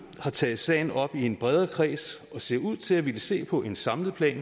har taget sagen op i en bredere kreds og ser ud til at ville se på en samlet plan